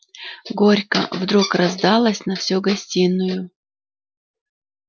горько вдруг раздалось на всю гостиную